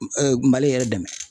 Mali yɛrɛ dɛmɛ